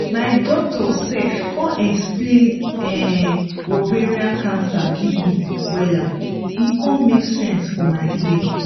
my doctor sef con explain um ovarian cancer give me wella e con make sense for my ear